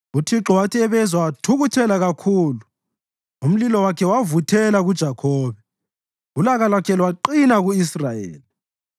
UThixo wathi ebezwa wathukuthela kakhulu; umlilo wakhe wavuthela kuJakhobe, ulaka lwakhe lwaqina ku-Israyeli,